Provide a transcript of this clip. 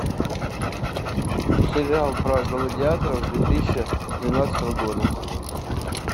сериал про гладиаторов две тысячи двенадцатого года